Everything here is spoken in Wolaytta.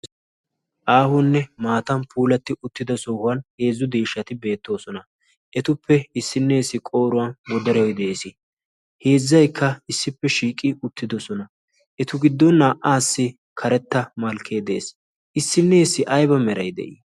aahunne maatan puulatti uttido sohuwan heezzu deeshshati beettoosona. etuppe issinneessi qooruwan modaroi de'ees. heezzaikka issippe shiiqi uttidosona etu giddon naa"aassi karetta malkkee de7ees. issinneessi ayba meray de'ii?